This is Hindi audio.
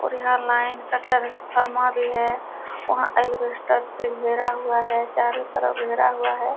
और यहाँ लाइन का ट्रांसफार्मर भी है। वहाँ अलबेस्टर से घेरा हुआ है चारो तरफ घेरा हुआ है।